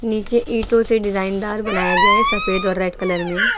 नीचे ईटों से डिजाइन दार बनाया गया है सफेद और रेड कलर में।